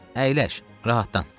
Əyləş, rahatlan.